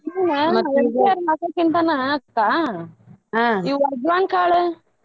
ಇಲ್ಲಾ ಈ MTR ಮಸಾಲೆ ಅಕ್ಕಾ ಈ ಅಜ್ವಾನ್ ಕಾಳ್.